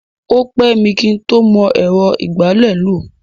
O pẹ́ mi kí ń tó mọ ẹ̀rọ ìgbálẹ̀ lò.